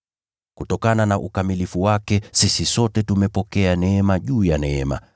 Kutokana na ukamilifu wake, sisi sote tumepokea neema juu ya neema.